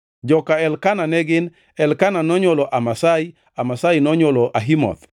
Joka Elkana ne gin: Elkana nonywolo Amasai, Amasai nonywolo Ahimoth,